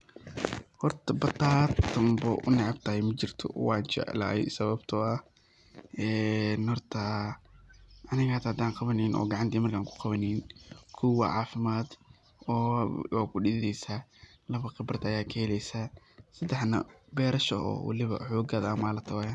Horta bataatan bo oo u neecebtahay majirto wajeclahay, sababto ah ee horta aniga hadan qawanenin oo gacanteyda horta an ku qawanenin kow waa cafimad oo kudidhidhesa, laba khibraad aya kahelesa, sedexna berasha oo waliba xogada aa malata weyan.